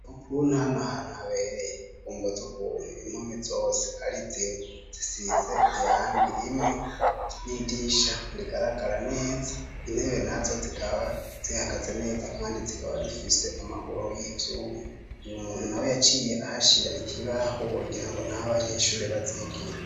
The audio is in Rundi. Ukuntu hantu habereye, ku mvo z'ukuntu impome zose ari zine zisize irangi rimwe n'idirisha rigaragara neza. Intebe nazo zikaba zihagaze neza kandi zikaba zifise amaburo y'ivyuma. Umuntu nawe yaciye ahashira ikibaho wogira ngo naho abanyeshure bazigira.